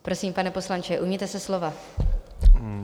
Prosím, pane poslanče, ujměte se slova.